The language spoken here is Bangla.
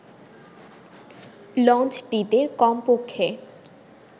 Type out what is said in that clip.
লঞ্চটিতে কমপক্ষে